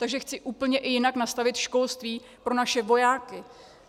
Takže chci úplně i jinak nastavit školství pro naše vojáky.